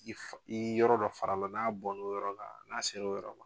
N'i yɔrɔ dɔ fara la n'a bɔn n'o yɔrɔ la, n'a se l'o yɔrɔ la